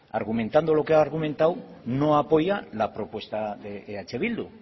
argumentando lo que ha argumentado no apoya la propuesta de eh bildu